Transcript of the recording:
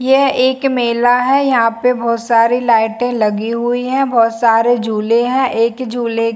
यह एक मेला है यहाँ पे बहुत सारे लाइटे लगी हुई है बहोत सारे झूले है एक झूले--